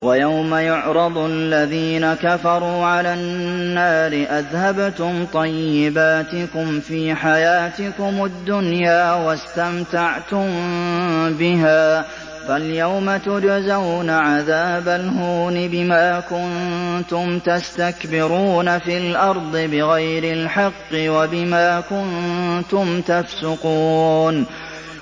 وَيَوْمَ يُعْرَضُ الَّذِينَ كَفَرُوا عَلَى النَّارِ أَذْهَبْتُمْ طَيِّبَاتِكُمْ فِي حَيَاتِكُمُ الدُّنْيَا وَاسْتَمْتَعْتُم بِهَا فَالْيَوْمَ تُجْزَوْنَ عَذَابَ الْهُونِ بِمَا كُنتُمْ تَسْتَكْبِرُونَ فِي الْأَرْضِ بِغَيْرِ الْحَقِّ وَبِمَا كُنتُمْ تَفْسُقُونَ